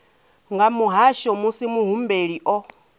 nga muhasho musi muhumbeli o